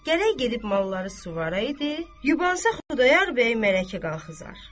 Gərək gedib malları suvara idi, yubansa Xudayar bəy mərəyə qalxızar.